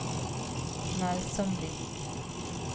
Melsomvik